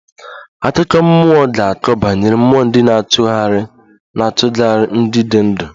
Akụkọ mmụọ ga-akọ banyere mmụọ ndị na-achugari ndị dị ndụ